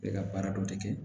Bɛ ka baara dɔ de kɛ